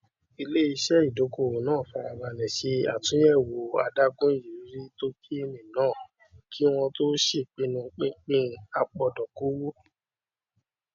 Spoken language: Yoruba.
iléiṣẹ ìdókòwò náà fara balẹ ṣe àtúnyẹwò adágún ìrírí tókèènì náà kí wọn tó ṣèpinnu pínpín apòdókòwò